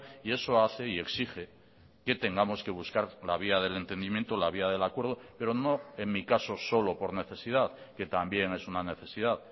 y eso hace y exige que tengamos que buscar la vía del entendimiento la vía del acuerdo pero no en mi caso solo por necesidad que también es una necesidad